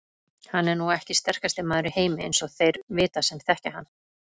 Hann er nú ekki sterkasti maður í heimi eins og þeir vita sem þekkja hann.